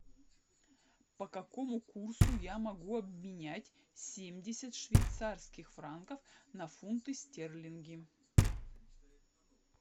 по какому курсу я могу обменять семьдесят швейцарских франков на фунты стерлингов